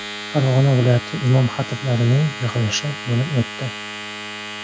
Farg‘ona viloyati imom-xatiblarning yig‘ilishi bo‘lib o‘tdi.